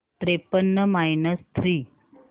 त्रेपन्न minus three